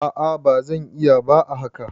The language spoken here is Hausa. a a ba zan iya ba a haka